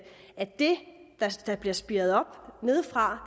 det der bliver spiret op nedefra